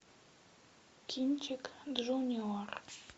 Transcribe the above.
кинчик джуниор